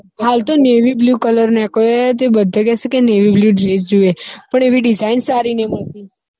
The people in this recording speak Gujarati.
હાલ તો navy bluecolour નીકળ્યો હે તે બધે કે છે કે navy bluedress જોઈએ પણ એવી design સારી નહિ મળતી